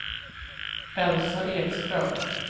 Elsa Ekström